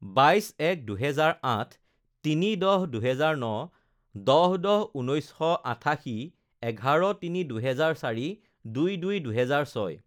বাইছ এক দুহেজাৰ আঠ, তিনি দহ দুহেজাৰ ন, দহ দহ ঊনৈছশ আঠাশী, এঘাৰ তিনি দুহেজাৰ চাৰি, দুই দুই দুহেজাৰ ছয়